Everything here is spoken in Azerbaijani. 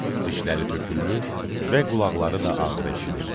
Dişləri tökülmüş və qulaqları da ağır eşidirdi.